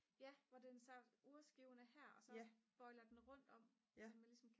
ja hvor det så urskiven er her og så bøjler den rundt om så man ligesom kan